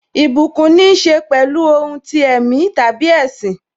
Ìbùkún níse pẹ̀lú ohun ti ẹ̀mí tàbí ẹṣin.